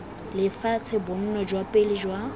lefatshe bonno jwa pele jwa